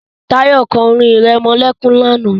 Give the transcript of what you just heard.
Tayo sang a lullyby yesterda